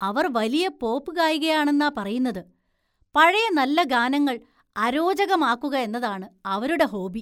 അവര്‍ വലിയ പോപ്പ് ഗായികയാണെന്നാ പറയുന്നത്, പഴയ നല്ല ഗാനങ്ങള്‍ അരോചകമാക്കുക എന്നതാണ് അവരുടെ ഹോബി.